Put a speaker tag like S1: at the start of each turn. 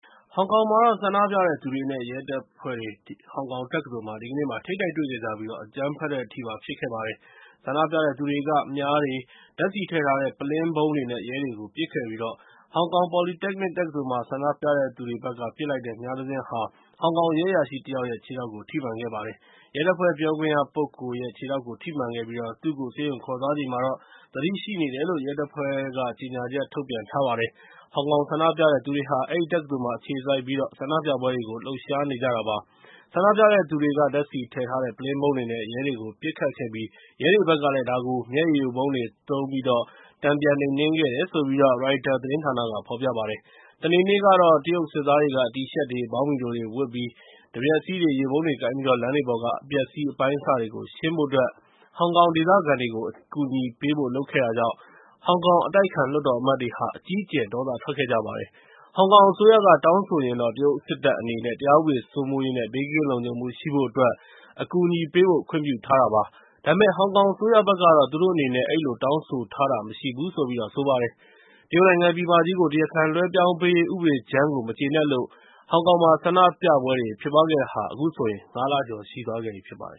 S1: ဟောင်ကောင်မှာ ဆန္ဒပြတဲ့သူတွေနဲ့ ရဲတပ်ဖွဲ့တွေ ဟောင်ကောင်တက္ကသိုလ်မှာ ဒီကနေ့ ထိပ်တိုက်တွေ့ခဲ့ကြပြီး အကြမ်းဖက်တဲ့အထိပါ ဖြစ်ခဲ့ပါတယ်။ ဆန္ဒပြတဲ့သူတွေက မြားတွေ၊ ဓာတ်ဆီထည့်ထားတဲ့ ပုလင်းဗုံးတွေနဲ့ ရဲတွေကို ပစ်ခဲ့ပြီး ဟောင်ကောင် Polytechnic တက္ကသိုလ်မှာ ဆန္ဒပြတဲ့သူတွေဘက်က ပစ်လိုက်တဲ့ မြားတစင်းက ဟောင်ကောင်ရဲအရာရှိတယောက်ရဲ့ ခြေထောက်ကို ထိမှန်ခဲ့ပါတယ်။ ရဲတပ်ဖွဲ့ ပြောခွင့်ရပုဂ္ဂိုလ်ရဲ့ ခြေထောက်ကို ထိမှန်ပြီး သူ့ကို ဆေးရုံခေါ်သွားချိန်မှာတော့ သတိရှိနေတယ်လို့ ရဲတပ်ဖွဲ့ရဲ့ ကြေညာချက်မှာ ပြောထားပါတယ်။ ဟောင်ကောင် ဆန္ဒပြတဲ့သူတွေဟာ အဲဒီတက္ကသိုလ်မှာ အခြေစိုက်ပြီး ဆန္ဒပြပွဲတွေကို လှုပ်ရှားနေကြတာပါ။ ဆန္ဒပြတဲ့သူတွေက ဓာတ်ဆီထည့်ထားတဲ့ ပုလင်းဗုံးတွေနဲ့ ရဲတွေကို ပစ်ခဲ့ပြီး ရဲတွေဘက်က ဒါကို မျက်ရည်ယိုဗုံးတွေနဲ့သုံးပြီး တန်ပြန်နှိမ်နင်းခဲ့တယ်လို့ ရိုက်တာသတင်းက ဖော်ပြပါတယ်။ စနေနေ့ကတော့ တရုတ်စစ်သားတွေက တီရှပ်တွေ ဘောင်းဘီတိုတွေဝတ်ပြီး တံမြက်စည်းတွေ ရေပုံးတွေနဲ့ လမ်းတွေပေါ်က အပျက်အစီး အပိုင်းအစတွေကို ရှင်းဖို့အတွက် ဟောင်ကောင်ဒေသခံတွေကို အကူအညီပေးဖို့ လုပ်ခဲ့တာကြောင့် ဟောင်ကောင်အတိုက်အခံ လွှတ်တော်အမတ်တွေ အကြီးအကျယ် ဒေါသထွက်ခဲ့ကြပါတယ်။ ဟောင်ကောင်အစိုးရက တောင်းဆိုရင် တရုတ်စစ်တပ်အနေနဲ့ တရားဥပဒေစိုးမိုးရေးနဲ့ ဘေးကင်းလုံခြုံမှု ရှိဖို့အတွက် အကူအညီပေးဖို့ ခွင့်ပြုထားပါတယ်။ ဒါပေမယ့် ဟောင်ကောင်အစိုးရက သူတို့အနေနဲ့ အဲဒီလို တောင်းဆိုထားတာ မရှိဘူးလို့ ဆိုပါတယ်။ တရုတ်နိုင်ငံ ပြည်မကြီးကို တရားခံလွှဲပြောင်းပေးရေး ဥပဒေကြမ်းကို မကျေနပ်လို့ အခုဆိုရင် ဟောင်ကောင်မှာ ဆန္ဒပြပွဲတွေ ဖြစ်နေတာဟာ ၅ လကျော် ရှိသွားခဲ့ပြီဖြစ်ပါတယ်